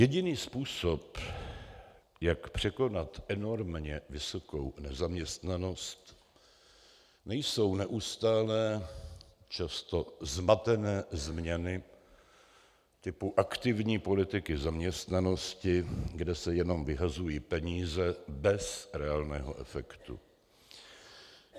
Jediný způsob, jak překonat enormně vysokou nezaměstnanost, nejsou neustálé, často zmatené změny typu aktivní politiky zaměstnanosti, kde se jenom vyhazují peníze bez reálného efektu.